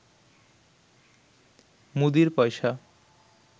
মুদীর পয়সা